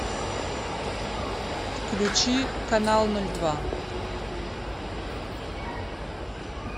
включи канал ноль два